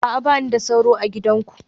A'a, ba ni da sauro a gidanku